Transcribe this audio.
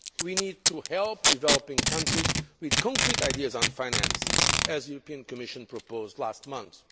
We need to help developing countries with concrete ideas on finance, as the European Commission proposed last month.